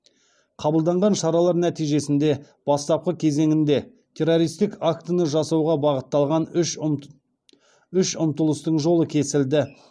қабылданған шаралар нәтижесінде бастапқы кезеңінде террористік актіні жасауға бағытталған үш ұмтылыстың жолы кесілді